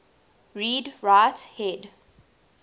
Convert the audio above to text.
read write head